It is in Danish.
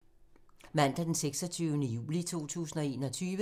Mandag d. 26. juli 2021